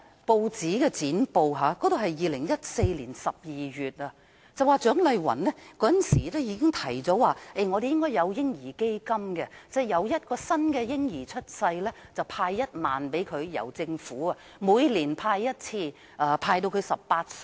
我從2014年12月的舊剪報得知，蔣麗芸議員當時已提出本港要成立"嬰兒基金"，每當有一名嬰兒出生，政府便為孩子注資1萬元，每年注資1次，直至孩子18歲。